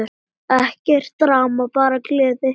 Ekkert drama, bara gleði!